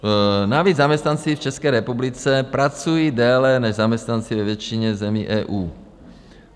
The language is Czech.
Navíc zaměstnanci v České republice pracují déle než zaměstnanci ve většině zemí EU.